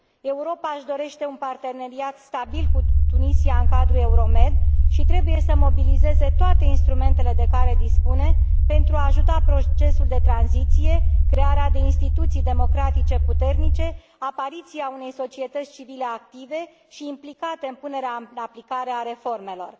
Europa își dorește un parteneriat stabil cu Tunisia în cadrul Euromed și trebuie să mobilizeze toate instrumentele de care dispune pentru a ajuta procesul de tranziție, crearea de instituții democratice puternice, apariția unei societăți civile active și implicate în punerea în aplicare a reformelor.